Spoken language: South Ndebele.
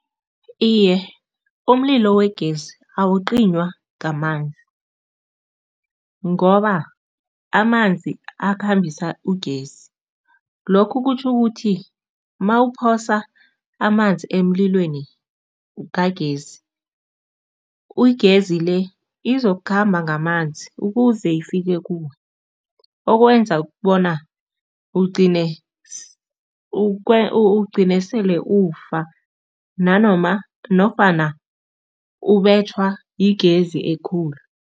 Iye, umlilo wegezi awucinywa ngamazi ngoba amanzi akhambisa ugesi, lokhu kutjho ukuthi mawuphosa amanzi emlilweni kagesi igezi le izokukhamba ngamanzi ukuze ifike kuwe, okwenza bona ugcine ugcine sele ufa nanoma nofana ubetjhwa yigezi ekhulu.